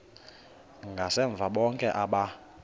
ngasemva bonke aba